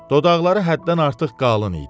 Dodaqları həddən artıq qalın idi.